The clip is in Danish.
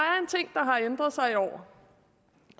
har ændret sig i år